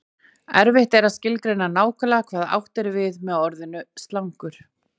Erfitt er að skilgreina nákvæmlega hvað átt er við með orðinu slangur.